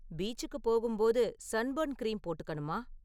பீச்சுக்குப் போகும்போது sunburn cream போட்டுக்கணுமா?